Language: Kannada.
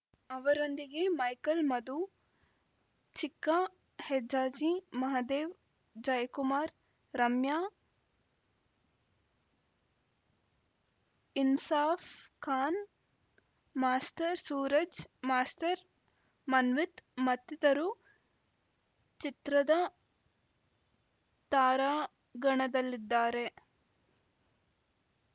ಅವರೊಂದಿಗೆ ಮೈಕಲ್‌ ಮಧು ಚಿಕ್ಕಹೆಜ್ಜಾಜಿ ಮಹದೇವ್‌ ಜೈ ಕುಮಾರ್‌ ರಮ್ಯಾಇನ್ಸಾಫ್‌ ಖಾನ್‌ ಮಾಸ್ಟರ್‌ ಸೂರಜ್‌ ಮಾಸ್ಟರ್‌ ಮನ್ವಿತ್‌ ಮತ್ತಿತರು ಚಿತ್ರದ ತಾರಾಗಣದಲ್ಲಿದ್ದಾರೆ